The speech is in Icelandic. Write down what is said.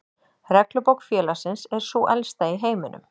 Reglubók félagsins er sú elsta í heiminum.